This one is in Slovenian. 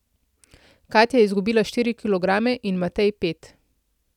Katja je izgubila štiri kilograme in Matej pet.